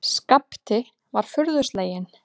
Skapti var furðu sleginn.